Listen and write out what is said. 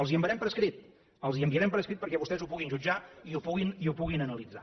els ho enviarem per escrit els ho enviarem per escrit perquè vostès ho puguin jutjar i ho puguin analitzar